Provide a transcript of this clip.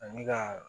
Ani ka